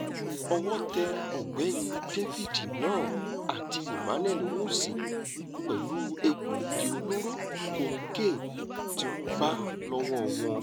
owó tẹ ọ̀gbẹ́ni david narh àti emmanuel owúsì pẹ̀lú egbòogi olóró kokéènì tí wọ́n bá lọ́wọ́ wọn